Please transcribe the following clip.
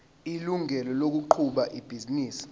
ilungelo lokuqhuba ibhizinisi